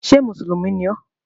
Ṣé mùsùlùmí ni ọ?